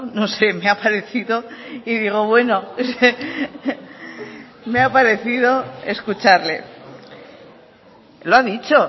no sé me ha parecido y digo bueno me ha parecido escucharle lo ha dicho